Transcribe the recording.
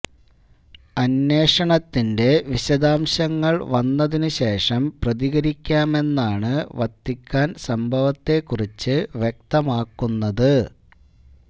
അന്വേഷണത്തിന്റെ വിശദാംശങ്ങള് വന്നതിന് ശേഷം പ്രതികരിക്കാമെന്നാണ് വത്തിക്കാന് സംഭവത്തെക്കുറിച്ച് വ്യക്തമാക്കുന്നത്